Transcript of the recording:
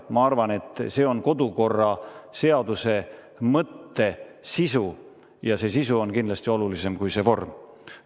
Ma arvan, et see on kodukorraseaduse mõtte sisu ja see sisu on kindlasti olulisem kui see vorm.